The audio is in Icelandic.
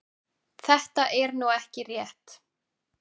Þetta er nú ekki rétt.